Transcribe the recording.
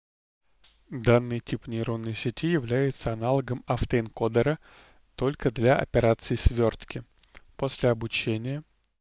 данный тип нейронной сети являются аналогом автоэнкодером только для операции свёртки после обучения